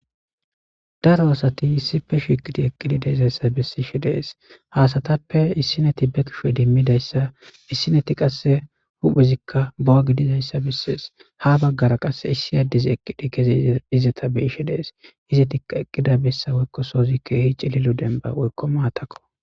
daro asati issipe shiqidi eqqidi deezayssa besiishe dees haasatappe issineti be kishe dimmidayssa issineti qasse huphezikka bowa gidizayssa bessees ha baggara qasse issi addezi eqqidi keze izeta be ishe dees izetikka eqqida bessa woykko soozikkeehici lilu demba woykko maatakko